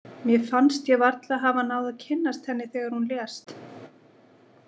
Mér fannst ég varla hafa náð að kynnast henni þegar hún lést.